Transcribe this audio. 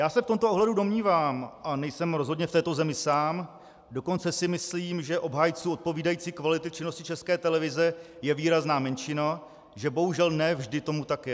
Já se v tomto ohledu domnívám, a nejsou rozhodně v této zemi sám, dokonce si myslím, že obhájců odpovídající kvality činnosti České televize je výrazná menšina, že bohužel ne vždy tomu tak je.